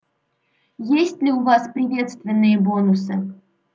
есть ли у вас приветственные бонусы